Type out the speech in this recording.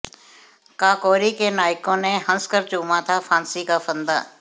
काकोरी के नायकों ने हंसकर चूमा था फांसी का फंदा